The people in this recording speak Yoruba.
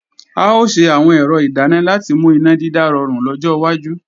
A ò ṣe àwọn ẹ̀rọ ìdáná láti mú iná dídá rọrùn lọ́jọ́ wájú